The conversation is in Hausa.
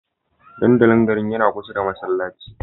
Dandalin garin yana kusa da masallaci